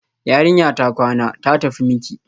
Yarinya ta kwana, ta tafi miki